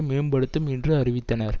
மேம்படுத்தும் என்றும் அறிவித்தனர்